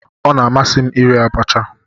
Ọ na-amasị m iri abacha.